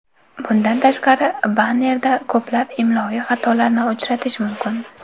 Bundan tashqari, bannerda ko‘plab imloviy xatolarni uchratish mumkin.